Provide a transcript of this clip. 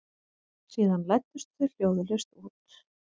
Síðan læddust þau hljóðlaust út.